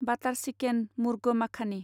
बाटार chicken murgh माखानि